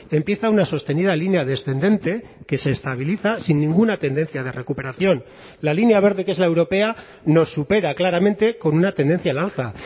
empieza una sostenida línea descendente que se estabiliza sin ninguna tendencia de recuperación la línea verde que es la europea nos supera claramente con una tendencia al alza